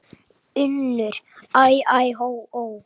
UNNUR: Æ, æ, ó, ó!